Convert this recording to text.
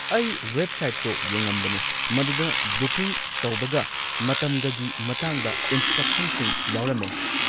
ꯑꯩ ꯋꯦꯕꯁꯥꯏꯠꯇꯣ ꯌꯦꯉꯝꯕꯅꯦ, ꯃꯗꯨꯗ ꯕꯨꯀꯤꯡ ꯇꯧꯕꯒ ꯃꯇꯝꯒꯒꯤ ꯃꯇꯥꯡꯗ ꯏꯟꯁꯇ꯭ꯔꯛꯁꯟꯁꯤꯡ ꯌꯥꯎꯔꯝꯃꯦ꯫